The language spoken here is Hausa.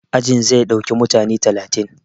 Ajin zai ɗauki mutane talatin